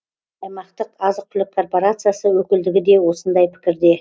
аймақтық азық түлік корпорациясы өкілдігі де осындай пікірде